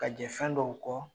Ka jɛ fɛn dɔw kɔ